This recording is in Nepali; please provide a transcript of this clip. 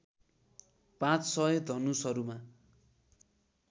पाँच सय धनुषहरूमा